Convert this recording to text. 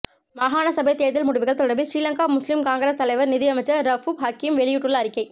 மாகாண சபை தேர்தல் முடிவுகள் தொடர்பில் ஸ்ரீலங்கா முஸ்லிம் காங்கிரஸ் தலைவர் நீதியமைச்சர் ரவூப் ஹக்கீம் வெளியிட்டுள்ள அறிக்கை